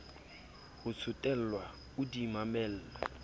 ho tsotellwa o di mamelle